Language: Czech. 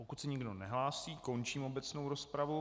Pokud se nikdo nehlásí, končím obecnou rozpravu.